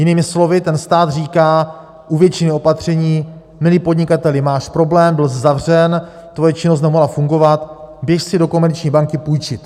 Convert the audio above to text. Jinými slovy, ten stát říká: u většiny opatření, milý podnikateli, máš problém, byls zavřen, tvoje činnost nemohla fungovat, běž si do komerční banky půjčit.